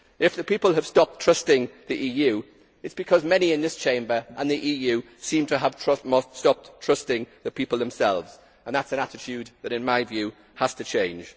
If the people have stopped trusting the EU, it is because many in this Chamber and the EU seem to have stopped trusting the people themselves and that is an attitude that, in my view, has to change.